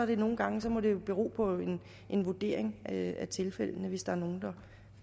det nogle gange bero på en vurdering af tilfældene hvis der er nogle